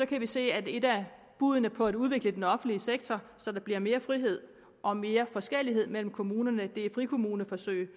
kan vi se at et af buddene på at udvikle den offentlige sektor så der bliver mere frihed og mere forskellighed mellem kommunerne er frikommuneforsøg